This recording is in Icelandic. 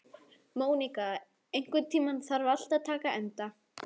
Móníka, einhvern tímann þarf allt að taka enda.